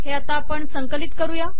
हे आपण संकलित करू